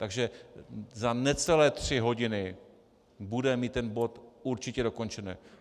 Takže za necelé tři hodiny budeme mít ten bod určitě dokončený.